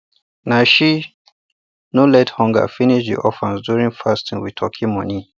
na she no let hunger finish the orphans during fasting with turkey money